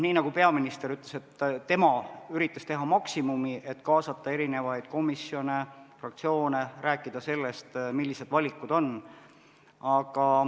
Nii nagu peaminister ütles, tema üritas teha maksimumi, et kaasata komisjone, fraktsioone, rääkida sellest, millised valikud on.